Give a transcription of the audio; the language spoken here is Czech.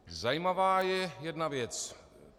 Zajímavá je jedna věc.